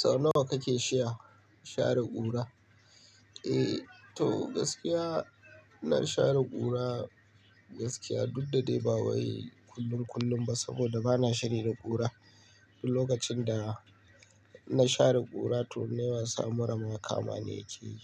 Sau nawa kake shia share ƙura? Eh to gaskiya ina share ƙura gaskiya duk da dai ba wai kullun kullun ba saboda bana shiri da ƙura. Duk lokacin da na share ƙura to in nai wasa mura ma kamani yake yi.